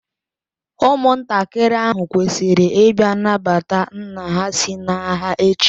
Ụmụntakịrị ahụ kwesịrị ịbịa nabata nna ha si n'agha echi